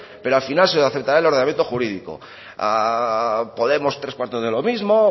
pero al final se aceptará el ordenamiento jurídico a podemos tres cuarto de lo mismo